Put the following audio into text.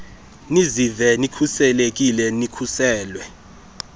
nizive nikhuselekile nikhuselwe